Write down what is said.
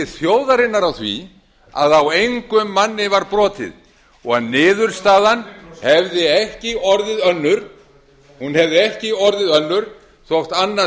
þjóðarinnar á því að á engum manni var brotið og að niðurstaðan hefði ekki orðið önnur hún hefði ekki orðið önnur þótt annað